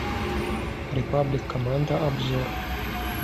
репаблик команда обзор